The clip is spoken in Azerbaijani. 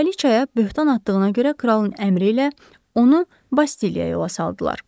Kraliçaya böhtan atdığına görə kralın əmri ilə onu Bastiliyaya yola saldılar.